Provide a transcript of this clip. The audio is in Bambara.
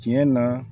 Tiɲɛ na